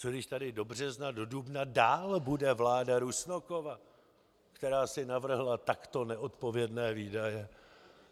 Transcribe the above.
Co když tady do března, do dubna dál bude vláda Rusnokova, která si navrhla takto neodpovědné výdaje?